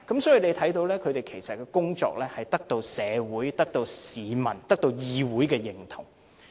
所以，大家看到其實它的工作是獲得社會、市民和議會認同的。